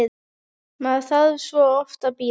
Maður þarf svo oft að bíða!